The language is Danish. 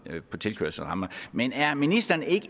på tilkørselsramperne men er ministeren ikke